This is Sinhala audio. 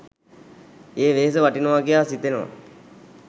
ඒ වෙහෙස වටිනවා කියා සිතෙනවා.